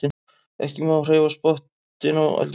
Ekki má hreyfa pottinn á eldavélinni.